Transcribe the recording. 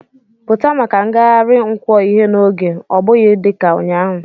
Pụta maka ngagharị nkwo ihe n'oge, ọ bụghị dị ka ụnyaahụ!